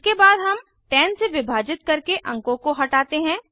इसके बाद हम 10 से विभाजित करके अंकों को हटाते हैं